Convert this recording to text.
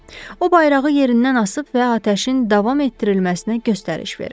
O bayrağı yerindən asıb və atəşin davam etdirilməsinə göstəriş verib.